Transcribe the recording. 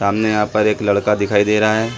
सामने यहाँ पर एक लड़का दिखाई दे रहा हे।